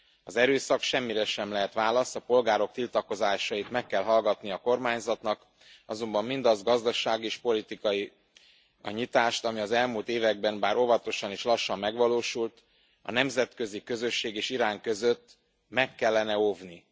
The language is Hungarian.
Az erőszak semmire sem lehet válasz, a polgárok tiltakozásait meg kell hallgatni a kormányzatnak, azonban mindazt a gazdasági és politikai a nyitást, ami az elmúlt években bár óvatosan és lassan megvalósult a nemzetközi közösség és Irán között, meg kellene óvni.